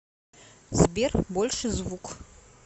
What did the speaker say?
сбер больше звук